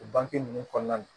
O bange ninnu kɔnɔna na